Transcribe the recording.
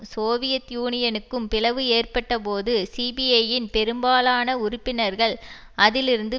Soviet யூனியனுக்கும் பிளவு ஏற்பட்டபோது சிபிஐயின் பெரும்பாலான உறுப்பினர்கள் அதிலிருந்து